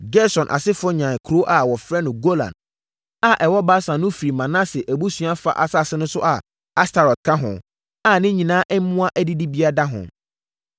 Gerson asefoɔ nyaa kuro a wɔfrɛ no Golan a ɛwɔ Basan no firii Manase abusua fa asase so a Astarot ka ho, a ne nyinaa mmoa adidibea da ho.